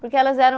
Porque elas eram